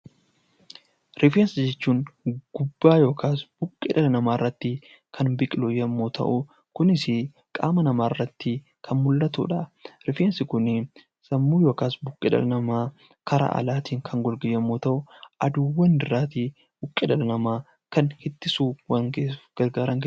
Rifeensa jechuun gubbaa yookaas buqqee dhala namaa irratti kan biqilu yommuu ta'u, kunisi qaama namaa irratti kan mul'atu dha. Rifeensi kunii sammuu yookaas buqqee dhala namaa karaa alaatiin kan golge yommuu ta'uu aduuwwan irraa tii buqqee dhala namaa kan ittisuuf...